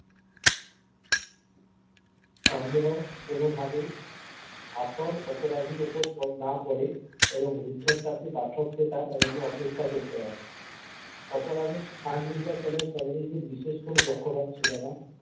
সন্দেহ কোনো ভাবেই আসল অপরাধীর উপর না পরে এবং রুদ্ধ শ্বাসে পাঠককে তাঁর জন্যে অপেক্ষা করতে হয় অপরাধীর স্থান নির্বাচনে শরদিন্দুর বিশেষ কোনো পক্ষপাত ছিল না।